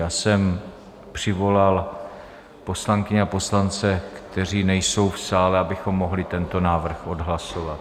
Já jsem přivolal poslankyně a poslance, kteří nejsou v sále, abychom mohli tento návrh odhlasovat.